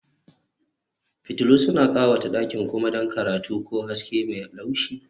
Fitillu suna ƙawata ɗakin kuma don karatu ko haske mai laushi